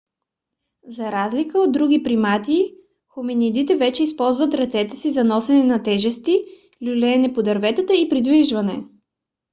за разлика от други примати хоминидите вече използват ръцете си за носене на тежести люлеене по дърветата и придвижване